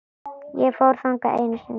Ég fór þangað einu sinni.